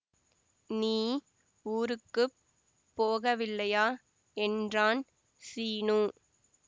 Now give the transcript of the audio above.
நீ ஊருக்கு போகவில்லையா என்றான் சீனு